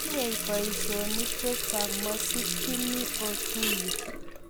tinyei boisionik chechang' masikchini otuye